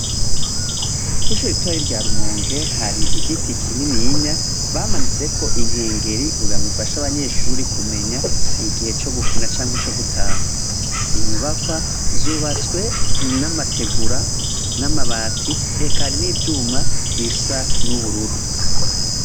Kw' ishure ritoya rya Rumonge hari igiti kininiya bamanitseko inkengeri kugira ngo bifashe abanyeshuri kumenya igihe co gukina cankwe co gutaha inyubakwa zubatswe n' amategura n' amabati eka n' ivyuma bisa n' ubururu.